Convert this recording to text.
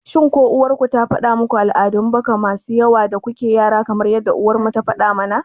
shin ko uwar ku ta faɗa muku al'adun baka masu yawa da kuke yara kamar yadda uwar mu ta mana?